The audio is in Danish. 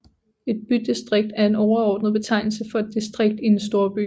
Et bydistrikt er en overordnet betegnelse for et distrikt i en storby